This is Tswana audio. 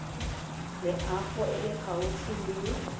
loago e e gaufi le